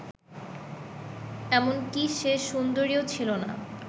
এমনকি সে সুন্দরীও ছিল না